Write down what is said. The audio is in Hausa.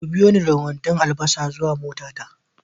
ku biyoni da kwandon albasa zuwa motata